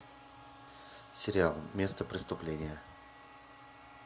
сериал место преступления